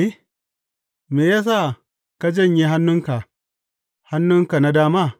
Me ya sa ka janye hannunka, hannunka na dama?